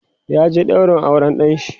ya je ɗaurin auran ɗanshi